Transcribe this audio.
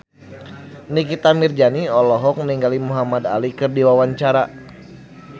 Nikita Mirzani olohok ningali Muhamad Ali keur diwawancara